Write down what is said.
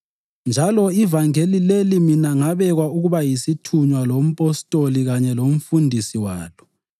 Njalo ivangeli leli mina ngabekwa ukuba yisithunywa lompostoli kanye lomfundisi walo.